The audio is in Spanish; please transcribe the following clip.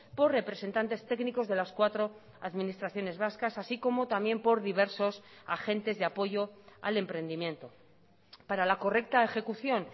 por representantes técnicos de las cuatro administraciones vascas así como también por diversos agentes de apoyo al emprendimiento para la correcta ejecución